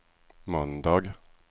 måndag